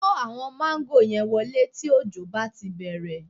Kó àwọn máńgò yẹn wọlé tí òjò bá ti bẹ̀rẹ̀